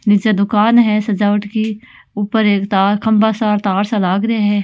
निचे दूकान है सजावट की ऊपर एक तार खंभा सा तारसा लागरिया है।